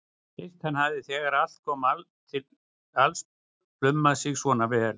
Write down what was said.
Fyrst hann hafði þegar allt kom til alls plumað sig svona vel.